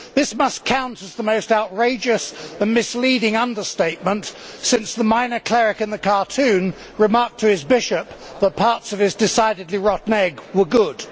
This must count as the most outrageous and misleading understatement since the minor cleric in the cartoon remarked to his bishop that parts of his decidedly rotten egg were good.